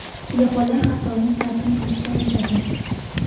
Yaponlar har doim ta’zim qilib so‘rashadi.